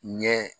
Ɲɛ